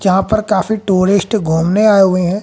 जहां पर काफी टूरिस्ट घूमने आए हुए है।